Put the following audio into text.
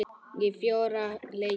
Ég fór á fjóra leiki.